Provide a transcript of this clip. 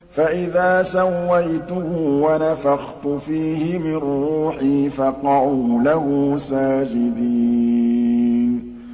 فَإِذَا سَوَّيْتُهُ وَنَفَخْتُ فِيهِ مِن رُّوحِي فَقَعُوا لَهُ سَاجِدِينَ